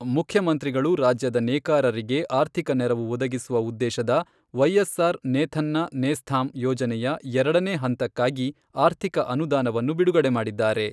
ಮುಖ್ಯಮಂತ್ರಿಗಳು ರಾಜ್ಯದ ನೇಕಾರರಿಗೆ ಆರ್ಥಿಕ ನೆರವು ಒದಗಿಸುವ ಉದ್ದೇಶದ ವೈಎಸ್ಆರ್ ನೇಥನ್ನ ನೇಸ್ಥಾಮ್ ಯೋಜನೆಯ ಎರಡನೇ ಹಂತಕ್ಕಾಗಿ ಆರ್ಥಿಕ ಅನುದಾನವನ್ನು ಬಿಡುಗಡೆ ಮಾಡಿದ್ದಾರೆ.